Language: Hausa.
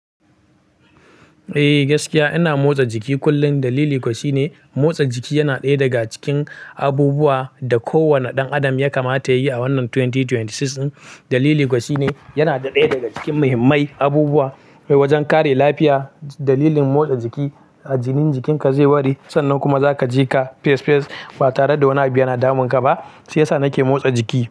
Eh gaskiya ina motsa jiki kullum. Dalili kuwa shine motsa jiki yana ɗaya daga cikin abubuwan da kowane ɗan adam ya kamata yayi a wannan 2026. Dalili kuwa shine yana ɗaya daga cikin muhimmai abubuwa wajen kare lafiya. Dalilin motsa jiki, jinin jikinka zai ware sannan kuma zaka ji ka fesh fesh ba tare da wani abu yana damunka ba. Shiya sa nake motsa jiki.